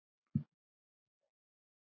Jóhann: Sammála þessu?